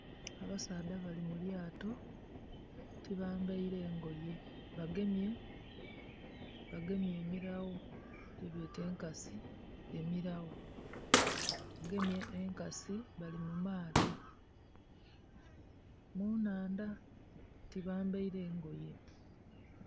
Abasaadha bali mulyaato tibambaire ngoye. Bagemye emilagho debeeta enkasi emilagho. Bagemye enkasi bali mumaato munhaandha. Tibambaire ngoye.